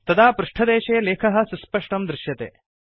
तदा पृष्टदेशे लेखः सुस्पष्टं दृश्यते